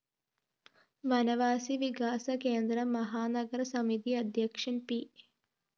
വനവാസി വികാസ കേന്ദ്രം മഹാനഗര്‍ സമിതി അദ്ധ്യക്ഷന്‍ പി